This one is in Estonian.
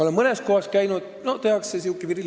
Samas olen näinud, et mõnes kohas tehakse viril nägu ette.